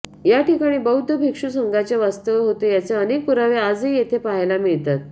या ठिकाणी बौद्ध भिक्षु संघाचे वास्तव्य होते याचे अनेक पुरावे आजही येथे पहायला मिळतात